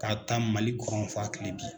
K'a ta Malikɔrɔn f'a kile bin.